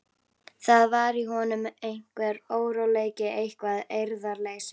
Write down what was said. Það var í honum einhver óróleiki, eitthvert eirðarleysi.